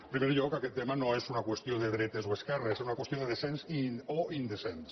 en primer lloc aquest tema no és una qüestió de dretes o d’esquerres és una qüestió de decents o indecents